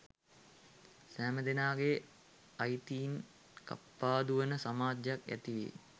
සැමදෙනාගේ අයිතීන් කප්පාදු වන සමාජයක් ඇතිවේ